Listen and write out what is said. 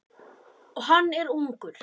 Og hann er ungur.